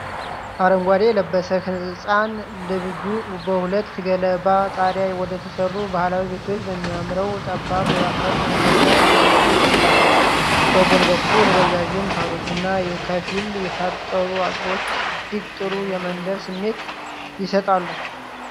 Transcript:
አረንጓዴ የለበሰ ህጻን ልጅ በሁለት ገለባ ጣሪያ ወደተሠሩ ባህላዊ ቤቶች በሚያመራው ጠባብ የአፈር መንገድ ላይ እየሮጠ ይገኛል። በጎን በኩል ረዣዥም ሣሮችና ከፊል የታጠሩ አጥሮች እጅግ ጥሩ የመንደር ስሜት ይሰጣሉ።